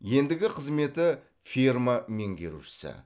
ендігі қызметі ферма меңгерушісі